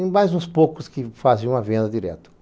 E mais uns poucos que faziam a venda direto.